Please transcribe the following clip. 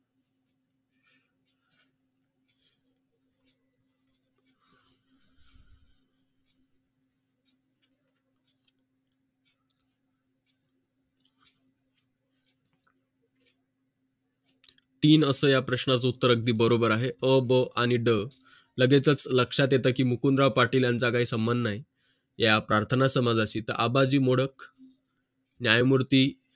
तीन असं या प्रश्नाचं उत्तर अगदी बरोबर आहे अ ब आणि ड लगेचच लक्षात येतं की मुकुंदा पाटील यांचा काही संबंध नाही या प्रार्थना समाजाशी तर आबाजी मोडक न्यायमूर्ती